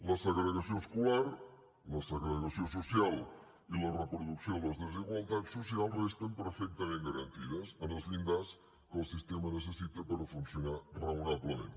la segregació escolar la segregació social i la reproducció de les desigualtats socials resten perfectament garantides en els llindars que el sistema necessita per funcionar raonablement